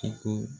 Ka ko